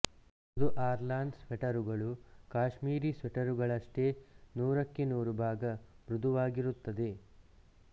ಮೃದು ಆರ್ಲಾನ್ ಸ್ವೆಟರುಗಳು ಕಾಶ್ಮೀರಿ ಸ್ವೆಟರುಗಳಷ್ಟೇ ನೂರಕ್ಕೆ ನೂರು ಭಾಗ ಮೃದುವಾಗಿರುತ್ತದೆ